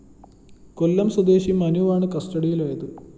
കൊല്ലം സ്വദേശി മനുവാണ് കസ്റ്റഡിലായത്